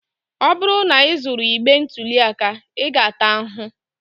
Ọ bụrụ na ị zuru igbe ntụli aka, ị ga-ata ahụhụ.